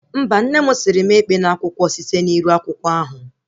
Mba, nne mụ sịrị mụ ekpena akwụkwọ site na iru akwụkwọ ahụ